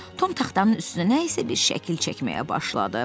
Tom taxtanın üstünə nə isə bir şəkil çəkməyə başladı.